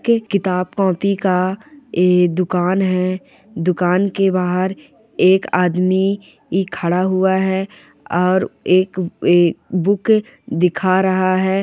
के किताब कॉपी का ए दुकान है दुकान के बाहर एक आदमी ई खड़ा हुआ है और एक ए बुक दिखा रहा है।